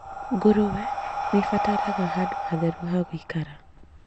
Ngũrwe nĩibataraga handũ hatheru ha gũikara